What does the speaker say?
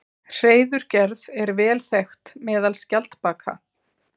Hreiðurgerð er vel þekkt meðal skjaldbaka.